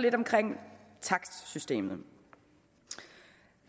lidt omkring takstsystemet